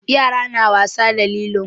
Yara na wasa da lilo.